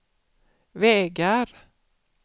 vägar